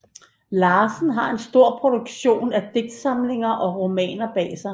Larsen har en stor produktion af digtsamlinger og romaner bag sig